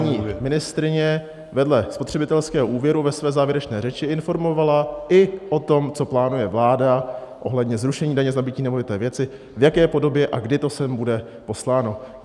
Aby nás paní ministryně vedle spotřebitelského úvěru ve své závěrečné řeči informovala i o tom, co plánuje vláda ohledně zrušení daně z nabytí nemovité věci, v jaké podobě a kdy to sem bude posláno.